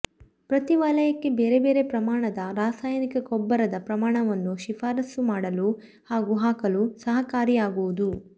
ಪ್ರತೀ ವಲಯಕ್ಕೆ ಬೇರೆ ಬೇರೆ ಪ್ರಮಾಣದ ರಸಾಯನಿಕ ಗೊಬ್ಬರದ ಪ್ರಮಾಣವನ್ನು ಶಿಫಾರಸುಮಾಡಲು ಹಾಗೂ ಹಾಕಲು ಸಹಕಾರಿಯಾಗುವುದು